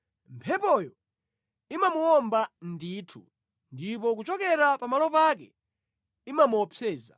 Mphepoyo imamuwomba ndithu ndipo kuchokera pamalo pake imamuopseza.”